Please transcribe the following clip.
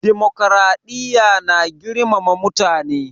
Dimokuraɗiya na girmama mutane